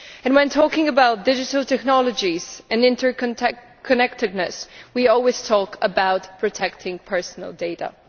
When talking about digital technologies and interconnectedness we always talk about protecting personal data.